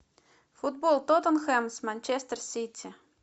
футбол тоттенхэм с манчестер сити